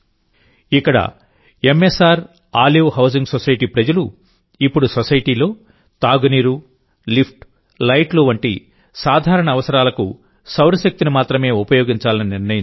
ఇక్కడి M S R olive housing society ప్రజలు ఇప్పుడు సొసైటీలో తాగునీరు లిఫ్ట్ లైట్లు వంటి సాధారణ అవసరాలకు సౌరశక్తిని మాత్రమే ఉపయోగించాలని నిర్ణయించుకున్నారు